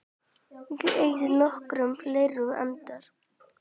Ég eyði nokkrum fleiri andar